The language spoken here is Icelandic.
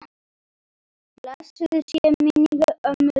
Blessuð sé minning ömmu Dúnu.